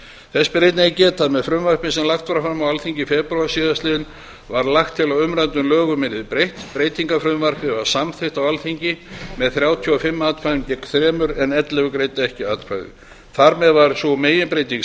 þess ber einnig að geta að með frumvarpi sem lagt var fram á alþingi í febrúar síðastliðnum var lagt til að umræddum lögum yrði breytt breytingafrumvarpið var samþykkt á alþingi með þrjátíu og fimm atkvæðum gegn þremur en ellefu greiddu ekki atkvæði þar með var sú meginbreyting